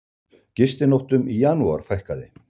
Gistinóttum í janúar fækkaði